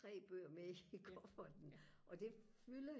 tre bøger med i kufferten og det fylder